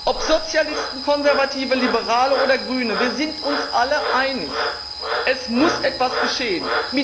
Ob Sozialisten, Konservative, Liberale oder Grüne wir sind uns alle einig Es muss etwas geschehen!